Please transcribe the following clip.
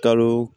Kalo